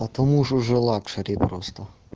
потому что же лакшери просто